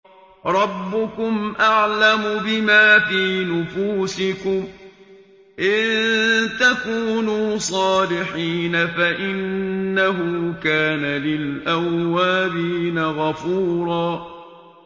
رَّبُّكُمْ أَعْلَمُ بِمَا فِي نُفُوسِكُمْ ۚ إِن تَكُونُوا صَالِحِينَ فَإِنَّهُ كَانَ لِلْأَوَّابِينَ غَفُورًا